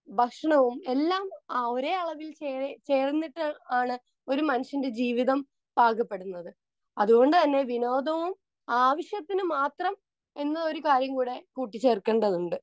Speaker 2 ഭക്ഷണവും എല്ലാം ഒരേ അളവിൽ ചേർന്നിട്ട് ആണ് ഒരു മനുഷ്യന്റെ ജീവിതം പാകപ്പെടുന്നത്. അതുകൊണ്ടുതന്നെ വിനോദവും ആവശ്യത്തിന് മാത്രം എന്ന ഒരു കാര്യം കൂടെ കൂട്ടിച്ചേർക്കേണ്ടതുണ്ട്.